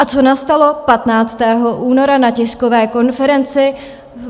A co nastalo 15. února na tiskové konferenci?